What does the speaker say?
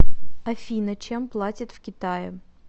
афина чем платят в китае